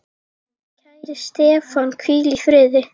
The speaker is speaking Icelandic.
Kæri Stefán, hvíl í friði.